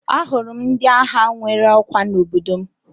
Ahụrụ m ndị agha nwere ọkwa n'obodo m